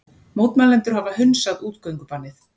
Mótmælendur hafa hunsað útgöngubannið